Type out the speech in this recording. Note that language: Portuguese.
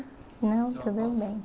Não, tudo bem.